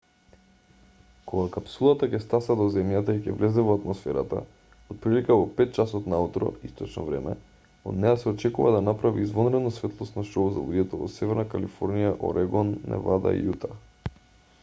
кога капсулата ќе стаса до земјата и ќе влезе во атмосферата отприлика во 5 часот наутро источно време од неа се очекува да направи извонредно светлосно шоу за луѓето во северна калифорнија орегон невада и јута